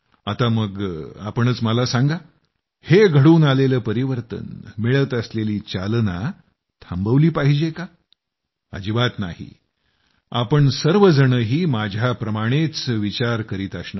आता मग तुम्हीच मला सांगा हे घडून आलेलं परिवर्तन मिळत असलेली चालना थांबवली पाहिजे काय अजिबात नाही तुम्ही सर्वजणही माझ्याचप्रमाणं विचार करीत असणार